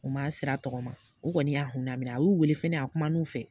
U man sira tɔgɔma u kɔni y'a hun lamina a y'u wele fɛnɛ a kuma na u fɛ.